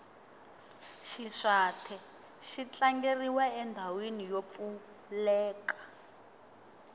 xiswathe xi tlangeriwa endhawini yo pfuleka